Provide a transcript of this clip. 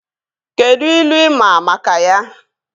Kedụ ilu ị maa maka ya?